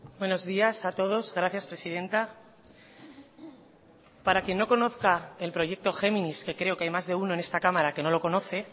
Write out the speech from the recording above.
buenos días a todos gracias presidenta para quien no conozca el proyecto géminis que creo que hay más de uno en esta cámara que no lo conoce